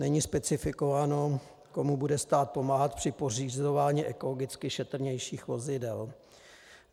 Není specifikováno, komu bude stát pomáhat při pořizování ekologicky šetrnějších vozidel.